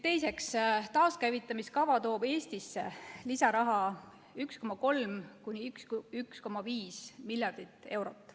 Teiseks, taaskäivitamiskava toob Eestisse lisaraha 1,3–1,5 miljardit eurot.